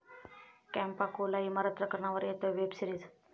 Campa Cola इमारत प्रकरणावर येतेय वेब सीरिज